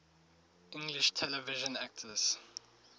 english television actors